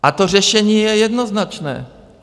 A to řešení je jednoznačné.